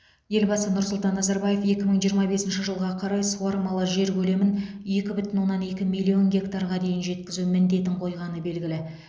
елбасы нұрсұлтан назарбаев екі мың жиырма бесінші жылға қарай суармалы жер көлемін екі бүтін оннан екі миллион гектарға дейін жеткізу міндетін қойғаны белгілі